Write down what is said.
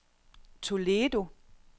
Toledo